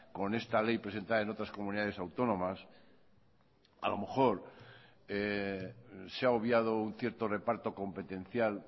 con esta ley presentada en otras comunidades autónomas a lo mejor se ha obviado un cierto reparto competencial